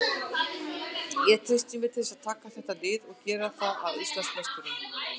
Ég treysti mér til þess að taka þetta lið og gera það að Íslandsmeisturum.